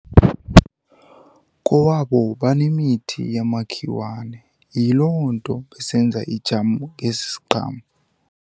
Kowabo banemithi yamakhiwane yiloo nto besenza ijamu ngesi siqhamo.